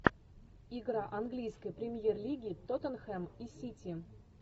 игра английской премьер лиги тоттенхэм и сити